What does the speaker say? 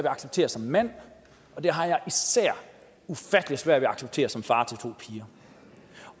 acceptere som mand og det har jeg især ufattelig svært ved at acceptere som far til to piger